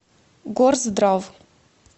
горздрав